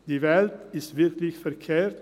Die Welt ist wirklich verkehrt.